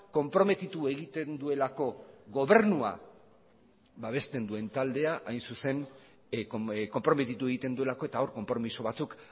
konprometitu egiten duelako gobernua babesten duen taldea konprometitu egiten duelako eta hor konpromiso batzuk